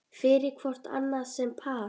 fyrir hvort annað sem par